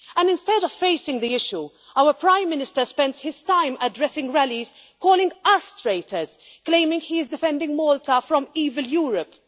Instead of facing the issue, our Prime Minister spends his time addressing rallies, calling us traitors, claiming he is defending Malta, even from Europe.